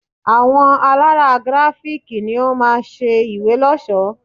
Àwọn alárà Grafik ni ó máa ṣe ìwé lọ́ṣọ̀ọ́.